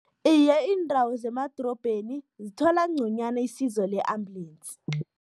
Iye, iindawo zemadorobheni zithola nconywana isizo le-ambulensi.